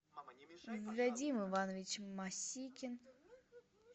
вадим иванович масикин